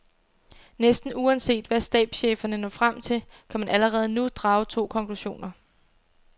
Næsten uanset hvad stabscheferne når frem til, kan man allerede nu drage to konklusioner.